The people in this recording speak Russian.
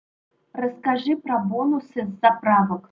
расскажи про бонусы с заправок